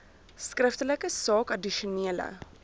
skriftelik saak addisionele